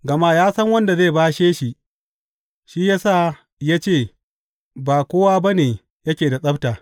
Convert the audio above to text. Gama ya san wanda zai bashe shi, shi ya sa ya ce, Ba kowa ba ne yake da tsabta.